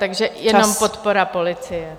Takže jenom podpora policie.